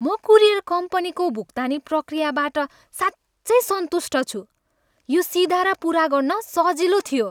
म कुरियर कम्पनीको भुक्तानी प्रक्रियाबाट साँच्चै सन्तुष्ट छु। यो सिधा र पुरा गर्न सजिलो थियो।